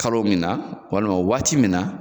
Kalo min na walima waati min na